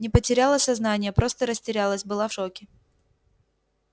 не потеряла сознание просто растерялась была в шоке